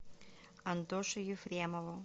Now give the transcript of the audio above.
антоше ефремову